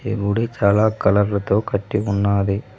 ఈ గుడి చాలా కలర్ లతో కట్టి ఉన్నాది.